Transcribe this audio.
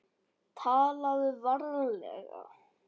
TALAÐU VARLEGA